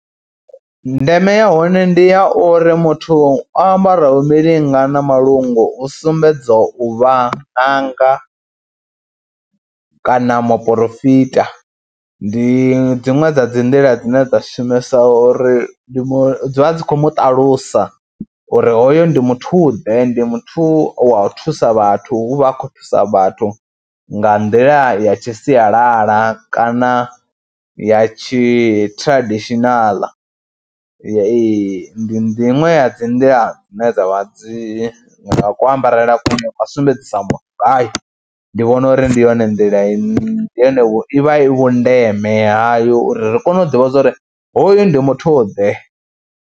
Ndeme ya hone ndi ya uri muthu o ambara milinga na malungu u sumbedza u vha ṅanga kana moporofita. Ndi dziṅwe dza dzi nḓila dzine dza shumesa uri ndi mu dzi vha dzi khou mu ṱalusa uri hoyo ndi muthuḓe, ndi muthu wa u thusa vhathu, u vha a khou thusa vhathu nga nḓila ya tshi sialala kana ya tshi traditional ee. Ndi ndi iṅwe ya dzi nḓila dzine dza vha dzi nga kuambarele kune kwa sumbedzisa muthu ngayo, ndi vhona uri ndi yone nḓila ine, yone i vha i vhundeme hayo uri ri kone u ḓivha zwa uri hoyu ndi muthuḓe.